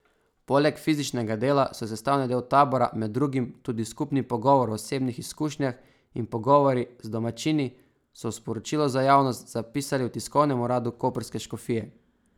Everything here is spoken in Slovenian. Poleg fizičnega dela so sestavni del tabora med drugim tudi skupni pogovor o osebnih izkušnjah in pogovori z domačini, so v sporočilu za javnost zapisali v tiskovnem uradu koprske škofije.